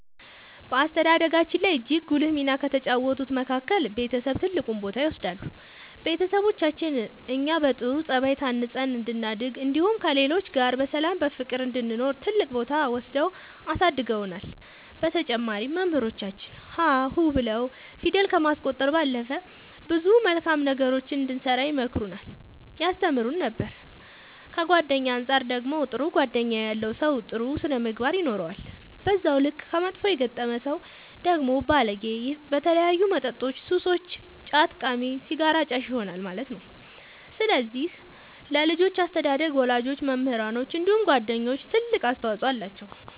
በአስተዳደጋችን ላይ እጅግ ጉልህ ሚና ከተጫወቱት መካከል ቤተሰብ ትልቁን ቦታ ይወስዳሉ ቤተሰቦቻችን እኛ በጥሩ ጸባይ ታንጸን እንድናድግ እንዲሁም ከሌሎች ጋር በሰላም በፍቅር እንድንኖር ትልቅ ቦታ ወስደው አሳድገውናል በተጨማሪም መምህራኖቻችን ሀ ሁ ብለው ፊደል ከማስቆጠር ባለፈ ብዙ መልካም ነገሮችን እንድንሰራ ይመክሩን ያስተምሩን ነበር ከጓደኛ አንፃር ደግሞ ጥሩ ጓደኛ ያለው ሰው ጥሩ ስነ ምግባር ይኖረዋል በዛው ልክ ከመጥፎ የገጠመ ሰው ደግሞ ባለጌ በተለያዩ መጠጦች ሱሰኛ ጫት ቃሚ ሲጋራ አጫሽ ይሆናል ማለት ነው ስለዚህ ለልጆች አስተዳደግ ወላጆች መምህራኖች እንዲሁም ጓደኞች ትልቅ አስተዋፅኦ አላቸው።